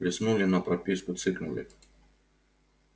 листнули на прописку цыкнули